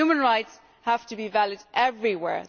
Human rights have to be valued everywhere.